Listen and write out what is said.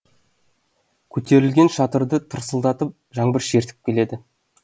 көтерілген шатырды тырсылдатып жаңбыр шертіп келеді